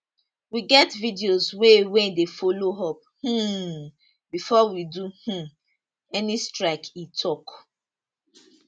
we get videos wey wey dey follow up um before we do um any strike e tok